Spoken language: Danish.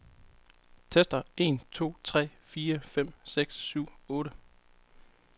Tester en to tre fire fem seks syv otte.